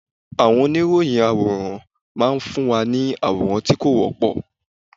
Àwọn oníròyìn àwòrán máa ń fún wa ní àwòrán tí kò wọ́pọ̀.